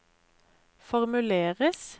formuleres